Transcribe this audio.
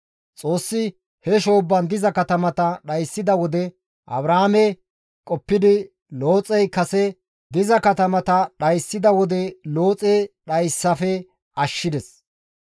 Xoossi he shoobban diza katamata dhayssida wode, Abrahaame qoppidi Looxey kase diza katamata dhayssida wode Looxe dhayssafe ashshides.